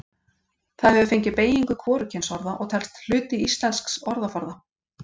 Það hefur fengið beygingu hvorugkynsorða og telst hluti íslensks orðaforða.